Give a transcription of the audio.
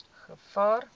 gevaar